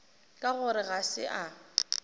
ka gore ga se a